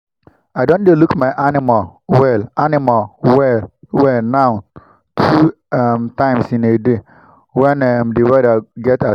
i don dey look my animal well animal well well now two um times in a day when um the weather get as e be